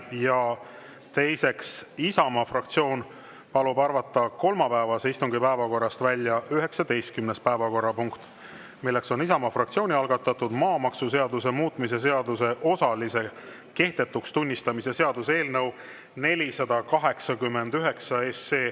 Ja teiseks, Isamaa fraktsioon palub arvata kolmapäevase istungi päevakorrast välja 19. päevakorrapunkt, milleks on Isamaa fraktsiooni algatatud maamaksuseaduse muutmise seaduse osalise kehtetuks tunnistamise seaduse eelnõu 489.